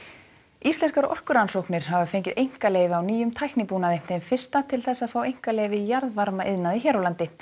íslenskar orkurannsóknir hafa fengið einkaleyfi á nýjum tæknibúnaði þeim fyrsta til þess að fá einkaleyfi í jarðvarmaiðnaði hér á landi